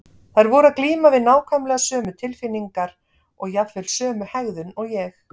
Þær voru að glíma við nákvæmlega sömu tilfinningar og jafnvel sömu hegðun og ég.